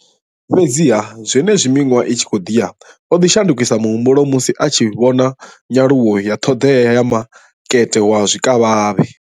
Fhedziha, zwenezwi miṅwaha i tshi khou ḓi ya, o ḓo shandukisa muhumbulo musi a tshi vhona nyaluwo ya ṱhoḓea ya makete wa zwikavhavhe.